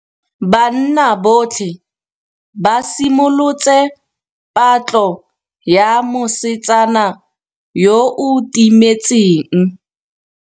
Banna botlhê ba simolotse patlô ya mosetsana yo o timetseng.